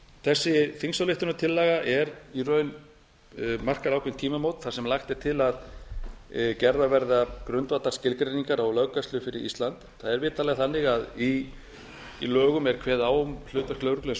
þessi þingsályktunartillaga markar í raun ákveðin tímamót þar sem lagt er til að gerðar verði grundvallarskilgreiningar á löggæslu fyrir ísland það er vitanlega þannig að í lögum er kveðið á um hlutverk lögreglu eins og